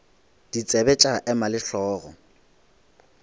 ditsebe tša ema le hlogo